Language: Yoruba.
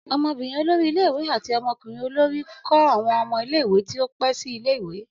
Ọmọbinrin olori ile-iwe ati ọmọkunrin olori kọ awọn ọmọ ile-iwe ti o pẹ si ile-iwe.